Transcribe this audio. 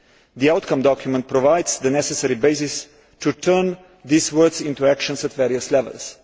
The outcome document provides the necessary basis to turn these words into actions at various levels.